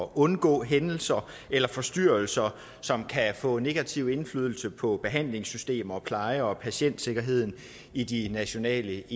undgår hændelser eller forstyrrelser som kan få negativ indflydelse på behandlingssystemer og pleje og patientsikkerhed i de nationale